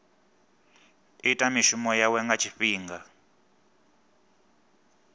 ita mishumo yawe nga tshifhinga